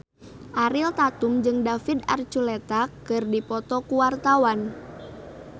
Ariel Tatum jeung David Archuletta keur dipoto ku wartawan